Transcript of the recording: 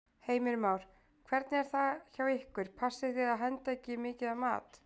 Heimir Már: Hvernig er það hjá ykkur, passið þið að henda ekki mikið af mat?